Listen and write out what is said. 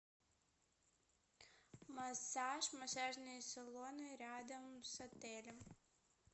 массаж массажные салоны рядом с отелем